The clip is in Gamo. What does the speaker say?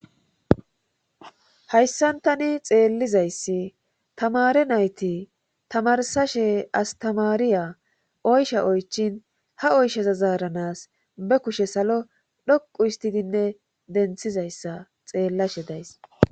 Hayssan tani xeellizayssi tamare nayti tamarsashe as tamaariya oysha oychin ha oyshezazaaranas be kushe salo dhoqu histidinne denthizayssa xeellashe days.